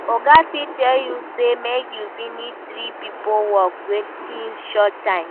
Oga fit tell you say make you finish three pipo work within short time